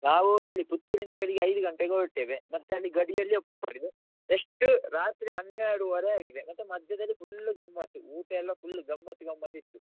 ನಾವೂ ಇಲ್ಲಿ ಪುತ್ತೂರಿಂದ ಬೆಳಿಗ್ಗೆ ಐದು ಗಂಟೆಗೆ ಹೊರಡ್ತೇವೆ, ಮತ್ತೆ ಅಲ್ಲಿ ಗಡಿಯಲ್ಲಿ next ರಾತ್ರಿ ಹನ್ನೆರಡುವರೆ ಆಗಿದೆ ಮತ್ತೆ ಮಧ್ಯದಲ್ಲಿ full ಗಮ್ಮತ್ ಊಟ ಎಲ್ಲ full ಗಮ್ಮತ್ ಗಮ್ಮತ್ ಇತ್ತು.